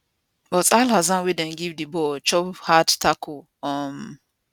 but alhassan wey dem give di ball chop hard tackle um